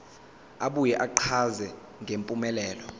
abuye achaze ngempumelelo